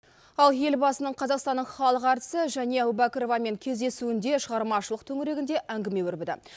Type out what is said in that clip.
ал елбасының қазақстанның халық әртісі және әубәкіровамен кездесуінде шығармашылық төңірегінде әңгіме өрбіді